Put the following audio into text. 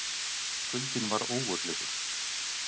Kuldinn var ógurlegur.